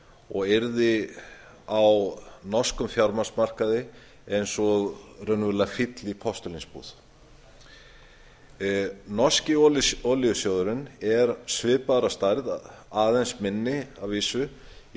og yrði á norskum fjármagnsmarkaði eins og raunverulega fíll í postulínsbúð norski olíusjóðurinn er svipaður að stærð aðeins minni að vísu í